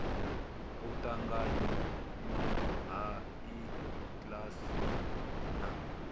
u ṱanganywa ha iks na